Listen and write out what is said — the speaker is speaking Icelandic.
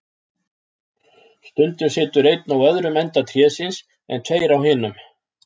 Stundum situr einn á öðrum enda trésins, en tveir á hinum.